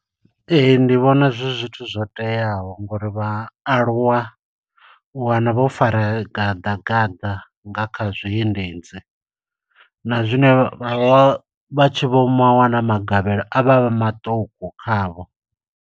Ee, ndi vhona zwi zwithu zwo teaho ngo uri vha aluwa, u wana vho fara gaḓa gaḓa nga kha zwiendedzi, na zwine vha vha tshi vho mo ma wana magavhelo a vha a maṱuku kha vho.